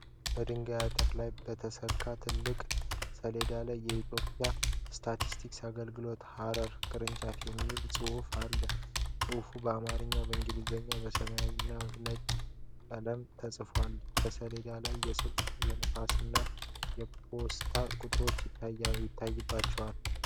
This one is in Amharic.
በድንጋይ አጥር ላይ በተሰቀለ ትልቅ ሰሌዳ ላይ "የኢትዮጵያ ስታቲስቲክስ አገልግሎት ሐረር ቅርንጫፍ" የሚል ጽሑፍ አለ። ጽሑፉ በአማርኛና በእንግሊዝኛ በሰማያዊ እና ነጭ ቀለም ተጽፏል። በሰሌዳው ላይ የስልክ፣ የፋክስ እና የፖስታ ቁጥሮች አይታችኋል?